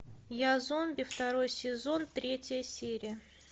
я зомби второй сезон третья серия